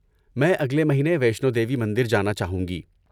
میں اگلے مہینے وشنو دیوی مندر جانا چاہوں گی۔